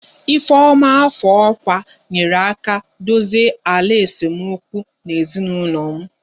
ifeoma afọ ọkwa nyeere aka dozie ala esemokwu na ezinụlọ m